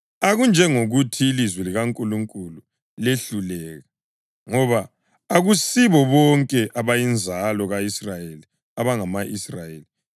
Akunjengokuthi ilizwi likaNkulunkulu lehluleka. Ngoba akusibo bonke abayinzalo ka-Israyeli abangama-Israyeli.